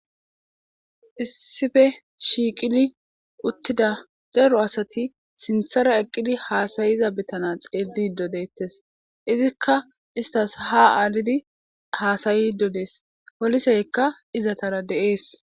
issife shiiqidi uttida zaro asati sinthara eqqidi haasayiza bitana xeellido deettes. izikka istas ha aalidi haasayi dodees poliseykka izatara de7ees.